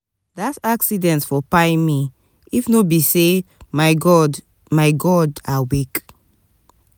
dat accident for kpai me if no be sey my god my god dey awake.